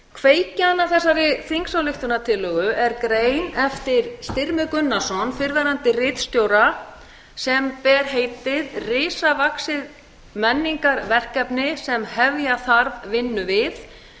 kveikjan að þessari þingsályktunartillögu er grein eftir styrmi gunnarsson fyrrverandi ritstjóra sem ber heitið risavaxið menningarverkefni sem hefja þarf vinnu við